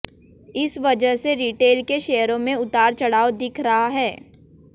इस वजह से रिटेल के शेयरों में उतारचढ़ाव दिख रहा है